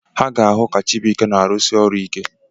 Ha ga-ahụ ka Chibuike na-arụsi ọrụ ike.